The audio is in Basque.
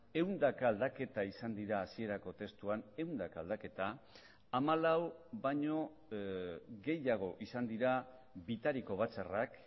ehundaka aldaketa izan dira hasierako testuan ehundaka aldaketa hamalau baino gehiago izan dira bitariko batzarrak